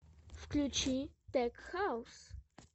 включи тек хаус